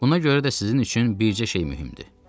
Buna görə də sizin üçün bircə şey mühümdür.